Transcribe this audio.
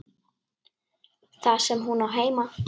Þar sem hún á heima.